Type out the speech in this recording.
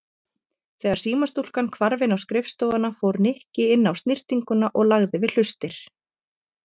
Þegar símastúlkan hvarf inn á skrifstofuna fór Nikki inn á snyrtinguna og lagði við hlustir.